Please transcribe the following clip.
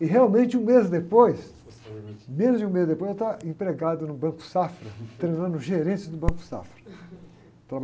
E realmente, um mês depois, menos de um mês depois, eu estava empregado no Banco Safra, treinando gerente do Banco Safra.